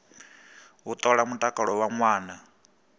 u ṱola mutakalo wa ṅwana